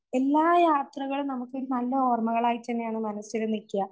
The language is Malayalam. എല്ലാ യാത്രകളും നമുക്കൊരു നല്ലോർമ്മകളായി തന്നെയാണ് മനസ്സില് നിക്ക്യാ